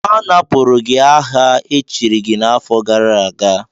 Anapụrụ gị aha echiri gị n'afọ gara aga!